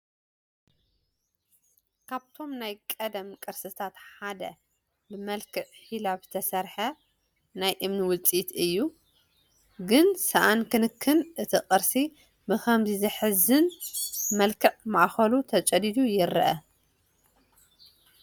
ካብቶም ናይ ቀደም ቅርስታት ሓደ ብመልክዕ ሒላብ ዝተሰርሐ ናይ እምኒ ውፅኢት እዩ፡፡ ግን ሳኣን ክንክን እቲ ቅርሲ ብኸምዚ ዘሕዝን መልክዕ ማእኸሉ ተጨዲዱ ይረአ፡፡